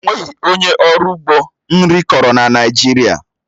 Ọ nweghị onye ọrụ ugbo nri kọrọ na Naịjirịa